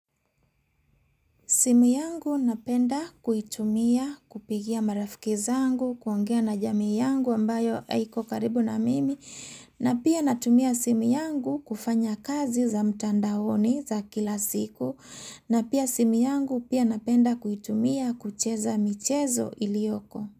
Simu yangu napenda kuitumia kupigia marafiki zangu, kuongea na jamii yangu ambayo haiko karibu na mimi. Na pia natumia simu yangu kufanya kazi za mtandaoni za kila siku. Na pia simu yangu pia napenda kuitumia kucheza michezo iliyoko.